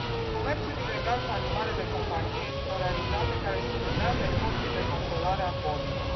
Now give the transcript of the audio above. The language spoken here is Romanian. Comerțul ilegal cu animale de companie este o realitate care subminează efortul de controlare a bolilor.